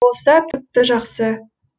болса тіпті жақсы